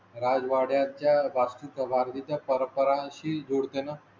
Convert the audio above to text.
राजवाड्या च्या वास्तू चा वाढीचा परस्परा शी जोड ते ना?